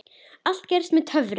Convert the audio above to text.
Allt gerist með töfrum.